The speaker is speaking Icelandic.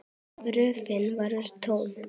Gröfin var tóm!